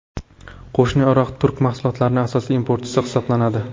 Qo‘shni Iroq turk mahsulotlarining asosiy importchisi hisoblanadi.